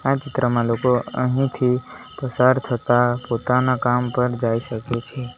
આ ચિત્રમાં લોકો અહીંથી પસાર થતાં પોતાના કામ પર જાય શકે છે.